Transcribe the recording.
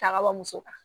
Ta ka bɔ muso kan